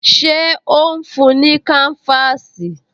Ṣé ó ń fún-un ní káńfáàsì?